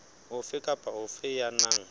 ofe kapa ofe ya nang